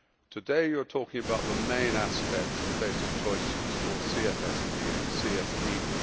Today you are speaking about the main aspects and basic choices for CFSP and CSDP.